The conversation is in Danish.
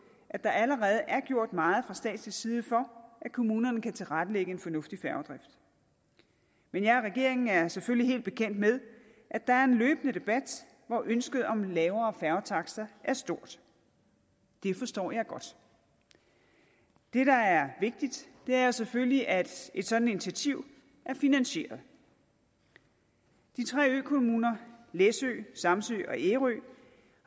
at der allerede er gjort meget fra statslig side for at kommunerne kan tilrettelægge en fornuftig færgedrift men jeg og regeringen er selvfølgelig helt bekendt med at der er en løbende debat hvor ønsket om lavere færgetakster er stort det forstår jeg godt det der er vigtigt er selvfølgelig at et sådant initiativ er finansieret de tre økommuner læsø samsø og ærø